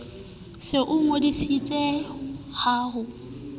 se o ngodisitse ha ho